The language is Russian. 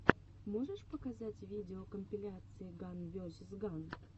можешь показать видеокомпиляции ган весиз ган